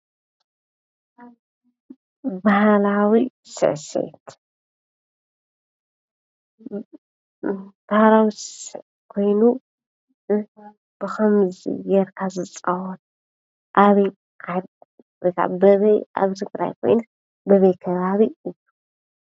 በሃላዊ ሰሰትዒት ኮይኑብከምዝ ገይርካ ዝፃወት ኣብ ትግራይ ከይኑ ኣበይናይ ዓዲ እዩ ?